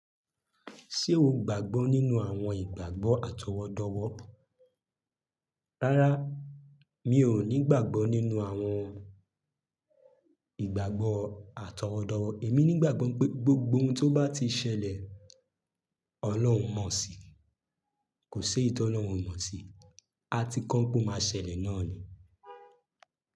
Ṣé o gbàgbọ́ nínú àwọn ìgbàgbọ́ àtọwọ́dọ́wọ́? Rárá, mi ò ní ìgbàgbọ́ nínú àwọn ìgbàgbọ́ àtọwọ́dọ́wọ́. Èmi nígbàgbọ́ pé gbogbo ohun tó bá ti ṣẹlẹ̀, Ọlọ́run mọ̀ sí i. Kò ṣe éyi ti Ọlọ́run omọ̀ sí i. A ti kọ́ pé ó máa ṣẹlẹ̀ náà ni.